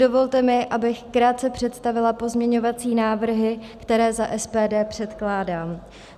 Dovolte mi, abych krátce představila pozměňovací návrhy, které za SPD předkládám.